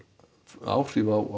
áhrif á